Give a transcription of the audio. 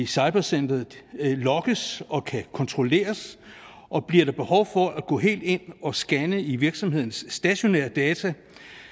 cybersikkerhed lokkes og kan kontrolleres og bliver der behov for at gå helt ind at scanne i virksomhedens stationære data